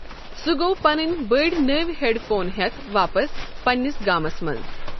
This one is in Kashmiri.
سُہ گوٚو پَنٕنۍ بٔڑۍ نٔوۍ ہیٚڑفون ہٮ۪تھ واپس پنٛنِس گامس منٛز۔